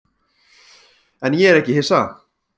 En ég er ekki hissa.